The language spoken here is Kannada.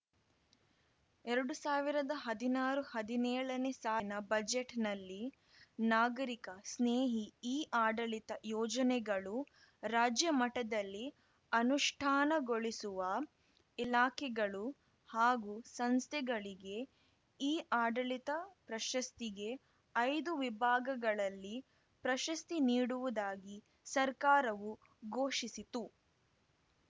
ಎರಡು ಸಾವಿರದ ಹದಿನಾರುಹದಿನೇಳನೇ ಸಾಲಿನ ಬಜೆಟ್‌ನಲ್ಲಿ ನಾಗರಿಕ ಸ್ನೇಹಿ ಇಆಡಳಿತ ಯೋಜನೆಗಳು ರಾಜ್ಯ ಮಟ್ಟದಲ್ಲಿ ಅನುಷ್ಠಾನಗೊಳಿಸುವ ಇಲಾಖೆಗಳು ಹಾಗೂ ಸಂಸ್ಥೆಗಳಿಗೆ ಇಆಡಳಿತ ಪ್ರಶಸ್ತಿಗೆ ಐದು ವಿಭಾಗಗಳಲ್ಲಿ ಪ್ರಶಸ್ತಿ ನೀಡುವುದಾಗಿ ಸರ್ಕಾರವು ಘೋಷಿಸಿತು